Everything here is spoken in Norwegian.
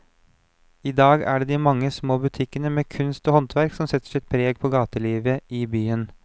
I dag er det de mange små butikkene med kunst og håndverk som setter sitt preg på gatelivet i byen.